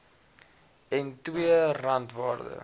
en ii randwaarde